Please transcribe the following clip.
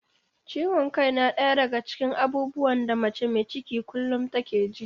Ciwon kai na ɗaya daga cikin abubuwan da mace mai ciki kullum take ji.